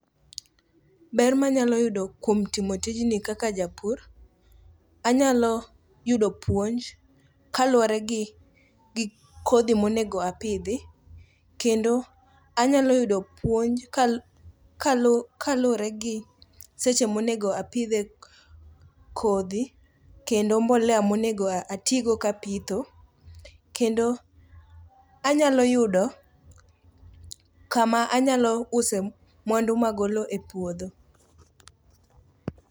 Ber manyalo yudo kuom timo tijni kaka japur, anyalo yudo puonj kaluwore gi kodhi monego apidhi, kendo anyalo yudo puonj kaluwre gi seche monego apidhe kodhi kendo mbolea monego atigo kapitho, kendo anyalo yudo kama anyalo use mwandu magolo e puodho.